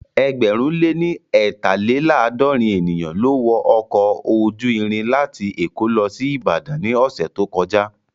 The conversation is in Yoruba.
Ẹgbẹ̀rún lé ní eetalelaadorin ènìyàn ló wọ ọkọ̀ ojú irin láti èkó lọ sí Ìbàdàn ní ọ̀sẹ̀ tó kọjá